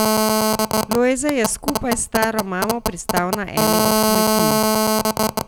Lojze je skupaj s staro mamo pristal na eni od kmetij.